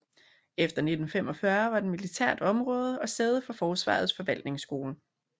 Efter 1945 var den militært område og sæde for Forsvarets forvaltningsskole